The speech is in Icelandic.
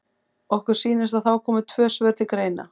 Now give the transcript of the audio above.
Okkur sýnist að þá komi tvö svör til greina.